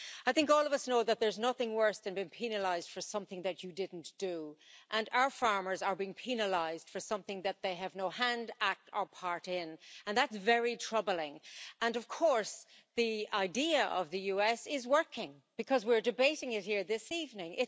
I think all of us know that there's nothing worse than being penalised for something that you didn't do, and our farmers are being penalised for something that they have no hand, act, or part in and that's very troubling. And of course, the idea of the US is working, because we're debating it here this evening.